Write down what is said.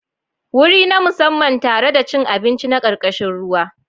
Wuri na musamman tare da cin abinci na karkashin ruwa.